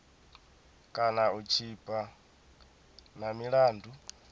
kana u tshipa na milandu